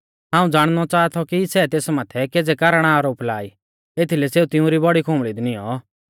हाऊं ज़ाणनौ च़ाहा थौ कि सै तेस माथै केज़ै कारण आरोप ला ई एथीलै सेऊ तिउंरी बौड़ी खुंबल़ी दी नियौं